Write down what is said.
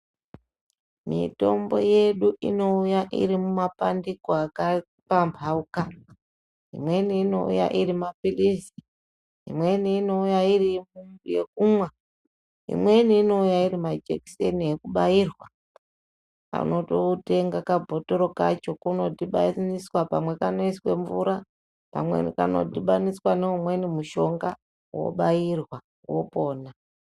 Mitombo yedu inouya iri mumapandiko akapambauka imweni inouya iri mapilizi, imweni inouya iri yekumwa, imweni inouya iri majekiseni ekubairwa unototenga kabhotoro kacho kanodhibaniswa pamwe kanoiswe mvura pamweni kanodhibaniswa neumweni mushonga wobairwa wopona.